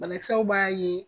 Banakisɛw b'a ye